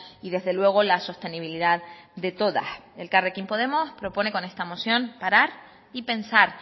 y desde luego la sostenibilidad de todas elkarrekin podemos propone con esta moción parar y pensar